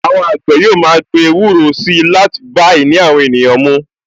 Àwọn àgbẹ̀ yóò ma gbin ewúro si láti bá ìní àwọn ènìyàn mú